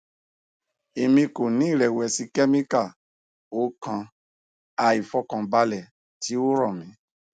emi ko ni irẹwẹsi chemical o kan aifọkanbalẹ ti o rọ mi